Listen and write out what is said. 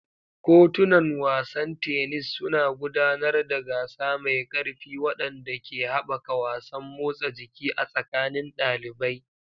Kotunan wasan tennis suna gudanar da gasa mai ƙarfi waɗanda ke haɓaka wasan motsa jiki a tsakanin ɗalibai.